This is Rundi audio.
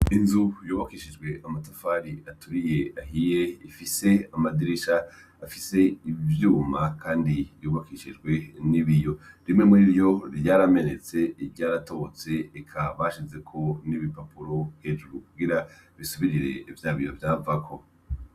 Inzu yubakishijwe amatafari aturiye ahiye ifise amadirisha afise ivyuma Kandi yubakishijwe n'ibiyo. Bimwe muri vyo vyaramenetse iryaratobotse eka bashizeko n'ibipapuro hejuru kugira bisubirire vya biyo vyavako.